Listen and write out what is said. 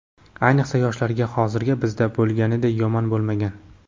ayniqsa yoshlarga hozir bizda bo‘lganiday yomon bo‘lmagan.